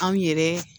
Anw yɛrɛ